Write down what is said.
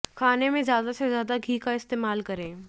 खाने में ज्यादा से ज्यादा घी का इस्तेमाल करें